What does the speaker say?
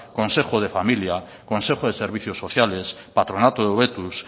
consejo de familia consejo de servicios sociales patronato de hobetuz